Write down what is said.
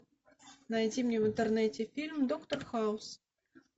найти мне в интернете фильм доктор хаус